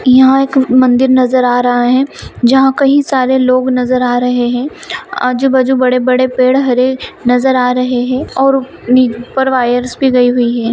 यहाँ एक मंदिर नज़र आ रहा है। जहाँ कही सारे लोग नज़र आ रहे है आजू-बाजु बड़े-बड़े पेड़ हरे नज़र आ रहे है और ऊ ऊपर वायर्स भी लगी हुई है।